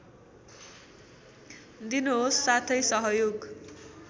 दिनुहोस् साथै सहयोग